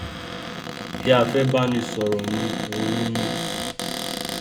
bí a fẹ báni sọrọ ni òun ni